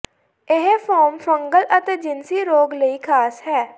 ਇਹ form fungal ਅਤੇ ਜਿਨਸੀ ਰੋਗ ਲਈ ਖਾਸ ਹੈ